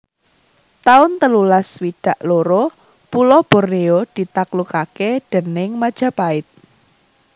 taun telulas swidak loro Pulo Bornéo ditaklukaké déning Majapahit